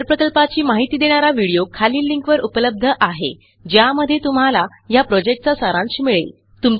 सदर प्रकल्पाची माहिती देणारा व्हिडीओ खालील लिंकवर उपलब्ध आहे ज्यामध्ये तुम्हाला ह्या प्रॉजेक्टचा सारांश मिळेल